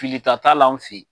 Filita t'a la an fɛ yen.